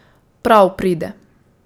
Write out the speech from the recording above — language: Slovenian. Prav pride.